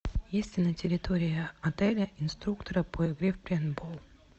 есть ли на территории отеля инструкторы по игре в пейнтбол